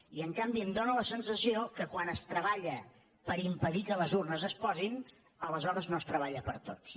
i en canvi em dóna la sensació que quan es treballa per impedir que les urnes es posin aleshores no es treballa per a tots